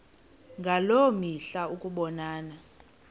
ngaloo mihla ukubonana